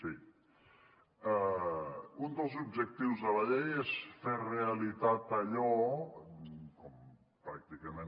sí un dels objectius de la llei és fer realitat allò pràcticament